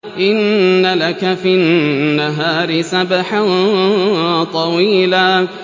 إِنَّ لَكَ فِي النَّهَارِ سَبْحًا طَوِيلًا